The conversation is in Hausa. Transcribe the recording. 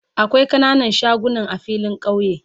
Akwai kananan shagunan a filin kauye